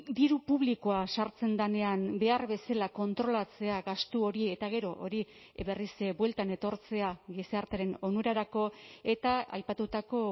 diru publikoa sartzen denean behar bezala kontrolatzea gastu hori eta gero hori berriz bueltan etortzea gizartearen onurarako eta aipatutako